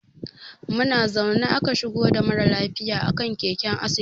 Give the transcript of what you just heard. Muna zaune aka shigo da mara lafiya a kan keken asibiti.